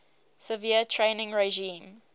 severe training regime